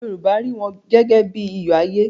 Yorùbá rí wọn gẹ́gẹ́ bí i iyọ̀ ayé.